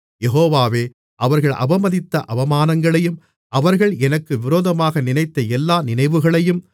யெகோவாவே அவர்கள் அவமதித்த அவமானங்களையும் அவர்கள் எனக்கு விரோதமாக நினைத்த எல்லா நினைவுகளையும்